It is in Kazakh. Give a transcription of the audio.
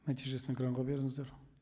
нәтижесін экранға беріңіздер